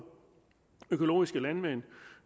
økologiske landmænd